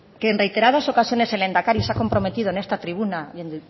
que en reiteradas ocasiones el lehendakari se ha comprometido en esta tribuna y en